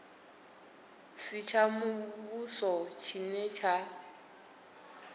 si tsha muvhuso tshine tsha